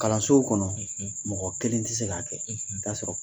Kalansow kɔnɔ mɔgɔ kelen tɛ se k'a kɛ i taa sɔrɔ